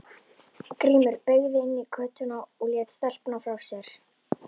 Grímur beygði inn í götuna og lét telpuna frá sér.